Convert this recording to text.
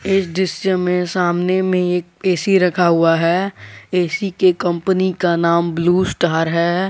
इस दृश्य में सामने में एक ऐ_सी रखा हुआ है ए_सी के कंपनी का नाम ब्लू स्टार है।